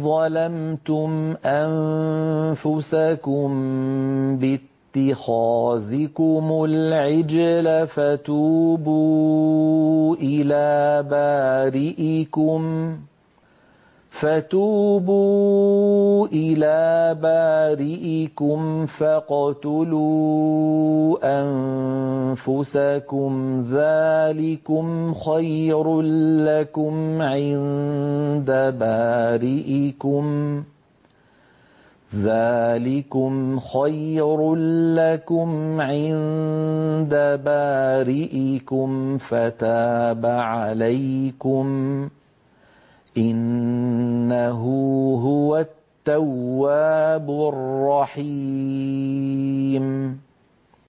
ظَلَمْتُمْ أَنفُسَكُم بِاتِّخَاذِكُمُ الْعِجْلَ فَتُوبُوا إِلَىٰ بَارِئِكُمْ فَاقْتُلُوا أَنفُسَكُمْ ذَٰلِكُمْ خَيْرٌ لَّكُمْ عِندَ بَارِئِكُمْ فَتَابَ عَلَيْكُمْ ۚ إِنَّهُ هُوَ التَّوَّابُ الرَّحِيمُ